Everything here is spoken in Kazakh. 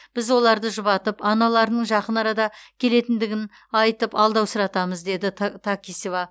біз оларды жұбатып аналарының жақын арада келетіндігін айтып алдаусыратамыз деді такисова